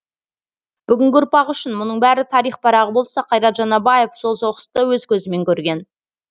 бүгінгі ұрпақ үшін мұның бәрі тарих парағы болса қайрат жанабаев сол соғысты өз көзімен көрген